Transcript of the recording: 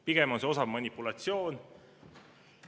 Pigem on see osav manipulatsioon.